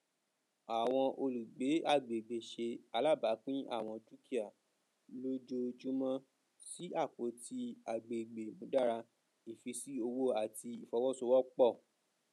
àwọn olùgbé agbègbè ṣe àlàbápín àwọn dúkìà lójoojúmọ sí apótí àgbègbè ìmúdára ìfísí owó àti ìfowósowọpọ